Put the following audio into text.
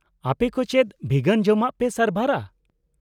-ᱟᱯᱮ ᱠᱚ ᱪᱮᱫ ᱵᱷᱤᱜᱟᱱ ᱡᱚᱢᱟᱜ ᱯᱮ ᱥᱟᱨᱵᱷᱟᱨᱟ ?